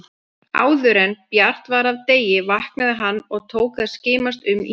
Áðuren bjart var af degi vaknaði hann og tók að skimast um í íbúðinni.